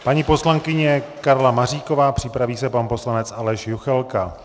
Paní poslankyně Karla Maříková, připraví se pan poslanec Aleš Juchelka.